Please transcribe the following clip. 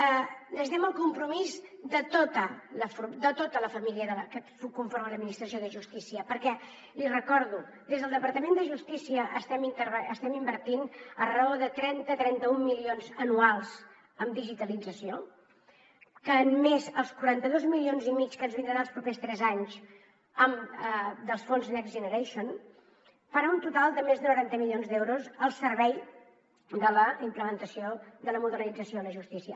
necessitem el compromís de tota la família que conforma l’administració de justícia perquè l’hi recordo des del departament de justícia estem invertint a raó de trenta trenta un milions anuals en digitalització que més els quaranta dos milions i mig que ens vindran els propers tres anys dels fons next generation farà un total de més de noranta milions d’euros al servei de la implementació de la modernització a la justícia